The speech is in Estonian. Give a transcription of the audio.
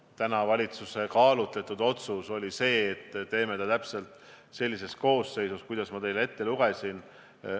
Aga täna oli valitsuse kaalutletud otsus selline, et teeme komisjoni täpselt sellises koosseisus, nagu ma teile ette lugesin.